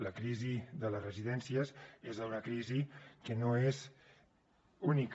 la crisi de les residències és una crisi que no és única